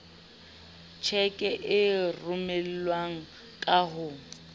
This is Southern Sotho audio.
tjheke e romelwang ka ho